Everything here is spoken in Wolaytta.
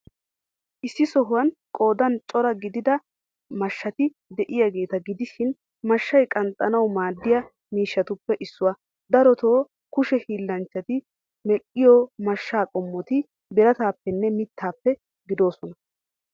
Issi sohuwan qoodan cora gidida mashshati de'iyaageeta gidishin, mashshay qanxxanawu maaddiya miishshatuppe issuwa. Darotoo, kushe hiillanchchati medhdhiyoo mashsha qommoti birataappenne mittaappe gidoosona.